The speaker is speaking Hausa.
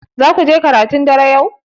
Zaku je karatun dare yau?